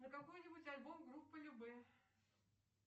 на какой нибудь альбом группы любэ